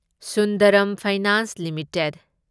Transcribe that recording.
Sundaram finance limited